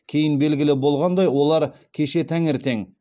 кейін белгілі болғандай олар кеше таңертең